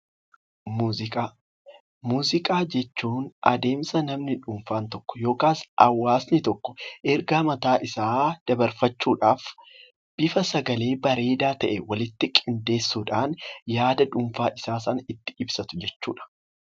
Muuziqaa, muuziqaa jechuun adeemsa namni dhuunfaan tokko yookaan hawaasni tokko ergaa mataa isaa dabarfachuudhaaf bifa sagalee bareedaa taheen walitti qindeessuudhaan yaada dhuunfaa isaa sana itti ibsatu jechuudha.